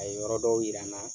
A ye yɔrɔ dɔw yira n na.